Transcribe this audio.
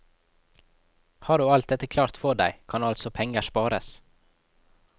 Har du alt dette klart for deg, kan altså penger spares.